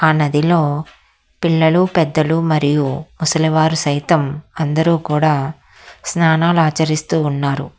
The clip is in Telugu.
ఆ నదిలో పిల్లలు పెద్దలు మరియు ముసలివారు సైతం అందరూ కూడా స్నానాలు ఆచరిస్తూ ఉన్నారు.